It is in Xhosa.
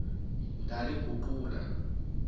ndaliguqula